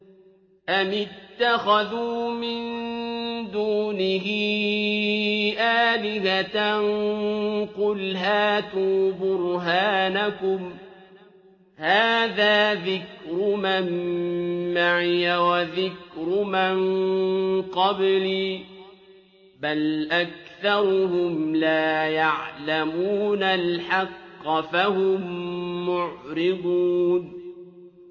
أَمِ اتَّخَذُوا مِن دُونِهِ آلِهَةً ۖ قُلْ هَاتُوا بُرْهَانَكُمْ ۖ هَٰذَا ذِكْرُ مَن مَّعِيَ وَذِكْرُ مَن قَبْلِي ۗ بَلْ أَكْثَرُهُمْ لَا يَعْلَمُونَ الْحَقَّ ۖ فَهُم مُّعْرِضُونَ